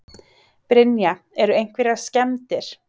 Brynja: Eru einhverjar skemmdir?